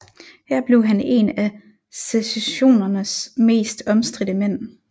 Her blev han en af secessionens mest omstridte mænd